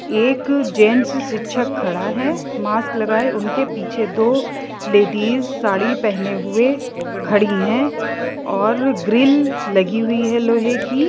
एक जेंट्स शिक्षक खड़ा है मास्क लगाए उनके पीछे दो लेडिस साड़ी पहने हुए खड़ी हैं और ग्रिल लगी हुई है लोहे की--